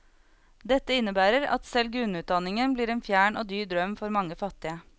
Dette innebærer at selv grunnutdanningen blir en fjern og dyr drøm for mange fattige.